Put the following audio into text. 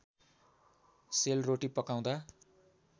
sale रोटी पकाउँदा